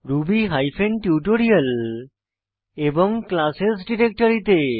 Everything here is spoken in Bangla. রুবি হাইফেন টিউটোরিয়াল এবং ক্লাসেস ডিরেক্টরি তে